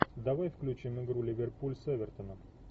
давай включим игру ливерпуль с эвертоном